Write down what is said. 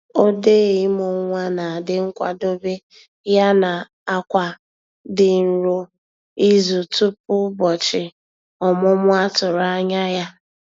Odee imụ nwa na-adi nkwadobe ya na-akwa di nro izu tupu ụbọchị ọmụmụ a tụrụ anya ya